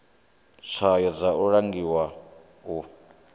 tswayo dza u langula u